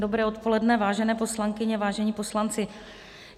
Dobré odpoledne, vážené poslankyně, vážení poslanci.